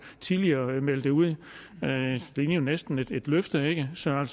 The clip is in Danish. tidligere meldte ud det lignede næsten et løfte ikke så man